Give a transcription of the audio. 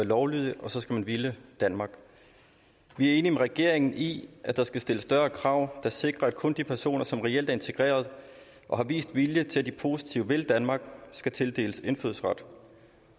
lovlydig og så skal man ville danmark vi er enige med regeringen i at der skal stilles større krav der sikrer at kun de personer som reelt er integreret og har vist vilje til at de positivt vil danmark skal tildeles indfødsret